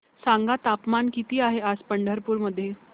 सांगा तापमान किती आहे आज पंढरपूर मध्ये